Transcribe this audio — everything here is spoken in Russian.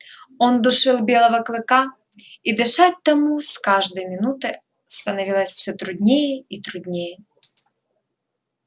он душил белого клыка и дышать тому с каждой минутой становилось всё труднее и труднее